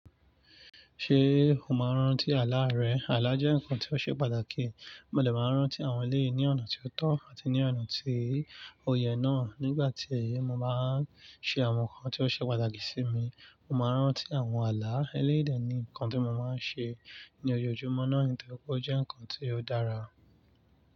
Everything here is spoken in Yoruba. Ṣé o máa ń rántí àlá rẹ? Àlá jẹ́ nǹkan tó ṣe pàtàkì. Mo le máa ń rántí àwọn eleyii ní ọ̀nà tó tọ́ àti ní ọ̀nà tí ó yẹ náà. Nígbà tí èyí bá ṣe àwọn nǹkan tó ṣe pàtàkì sí mi, mo máa rántí àwọn àlá. Eléyìí dé ni nǹkan tí mo máa ń ṣe ní ojoojúmọ́ náà, nítorí pé ó jẹ́ nǹkan tí ó dára.